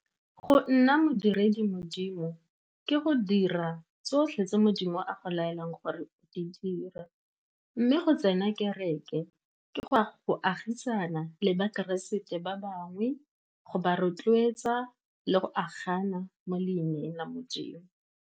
Go nna modiredi Modimo ke go dira tsotlhe tse Modimo a go laelang gore di dira, mme go tsena kereke ke go agisana le bakeresete ba bangwe, go ba rotloetsa, le go agana mo leineng la Modimo.